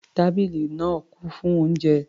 Tábìlì náà kún fún oúnjẹ.